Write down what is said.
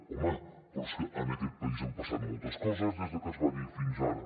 home però és que en aquest país han passat moltes coses des de que es va dir fins ara